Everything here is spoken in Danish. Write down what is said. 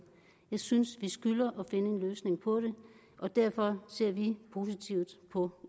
jeg synes vi skylder at finde en løsning på det og derfor ser vi positivt på